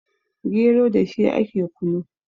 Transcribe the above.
gero da shi ake kunu